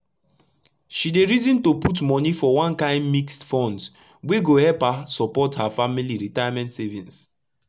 she dey reason to put moni for one kain mixed funds wey go epp her support her family retirement savings